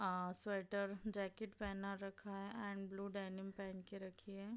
अ sweater jacket पहना रखा है एंड ब्लू डेनिम पहन के रखी है।